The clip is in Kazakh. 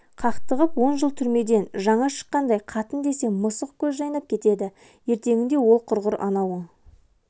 қақтығып он жыл түрмеден жаңа шыққандай қатын десе мысық көз жайнап кетеді ертеңінде ол құрғыр анауың